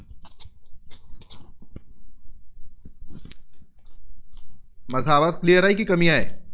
माझा आवाज clear आहे, की कमी आहे?